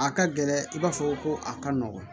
A ka gɛlɛn i b'a fɔ ko a ka nɔgɔn